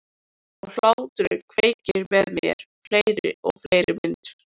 Og hláturinn kveikir með mér fleiri og fleiri myndir.